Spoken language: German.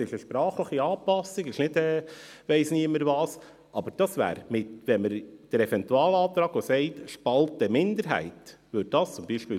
Es ist eine sprachliche Anpassung, es ist nicht Ich-weiss-nicht-was, aber dies würde verloren gehen, wenn wir den Eventualantrag berücksichtigen, in dem die «Spalte Minderheit» erwähnt wird.